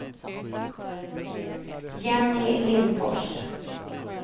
Jenny Lindfors